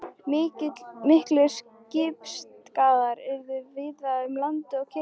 Miklir skipsskaðar urðu víða um land og kirkjur fuku.